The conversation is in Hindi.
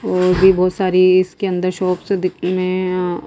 और भी बहुत सारी इसके अंदर शॉप्स दिक्मे में--